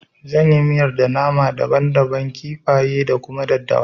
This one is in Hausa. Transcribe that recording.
Zan yi miyar da nama daban daban, kifaye da kuma daddawa